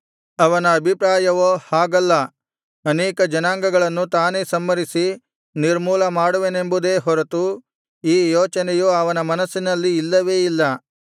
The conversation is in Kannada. ಅವನ ಅಭಿಪ್ರಾಯವೋ ಹಾಗಲ್ಲ ಅನೇಕ ಜನಾಂಗಗಳನ್ನು ತಾನೇ ಸಂಹರಿಸಿ ನಿರ್ಮೂಲ ಮಾಡುವೆನೆಂಬುದೇ ಹೊರತು ಈ ಯೋಚನೆಯು ಅವನ ಮನಸ್ಸಿನಲ್ಲಿ ಇಲ್ಲವೇ ಇಲ್ಲ